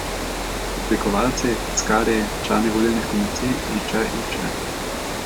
Oblikovalci, tiskarji, člani volilnih komisij in še in še.